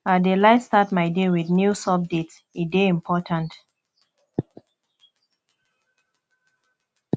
i dey like start my day with news updates e dey important